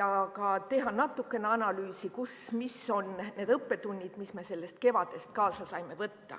ja ka teha natukene analüüsi, mis on need õppetunnid, mis me sellest kevadest kaasa saame võtta.